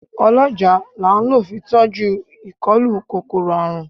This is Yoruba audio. Ọlọ́jàá la ń lọ fi tọ́jú ìkólú kòkòrò àrùn.